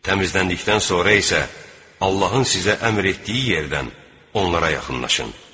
Təmizləndikdən sonra isə Allahın sizə əmr etdiyi yerdən onlara yaxınlaşın.